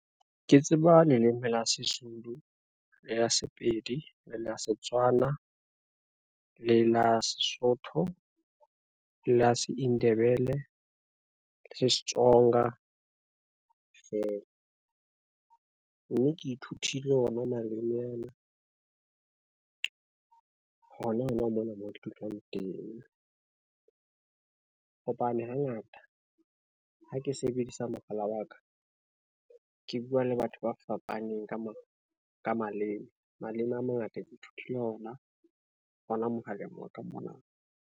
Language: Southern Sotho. Ke tseba leleme la Sezulu, le la Sepedi, le la Setswana, le la Sesotho, le la Seindebele le la Setsonga fela, mme ke ithutile ona maleme ana, hona hona mona mo ke dulang teng. Hobane hangata ha ke sebedisa mohala wa ka, ke bua le batho ba fapaneng ka maleme, maleme a mangata ke ithutile ona hona mohaleng wa ka mona.